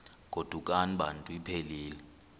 godukani bantu iphelil